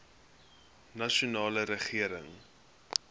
nasionale regering